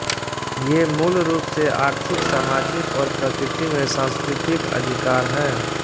ये मूल रूप से आर्थिक सामाजिक और प्रकृति में सांस्कृतिक अधिकार हैं